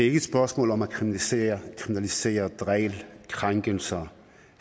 ikke et spørgsmål om at kriminalisere kriminalisere krænkelser